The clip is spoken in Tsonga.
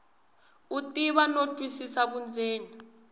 u tiva no twisisa vundzeni